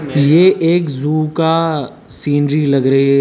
ये एक जू का सीनरी लग रही है।